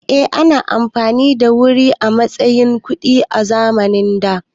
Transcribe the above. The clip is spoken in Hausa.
Eh, ana amfani da wuri a matsayin kuɗi a zamanin da